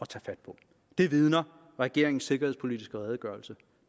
tage fat på det vidner regeringens sikkerhedspolitiske redegørelse